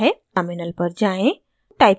terminal पर जाएँ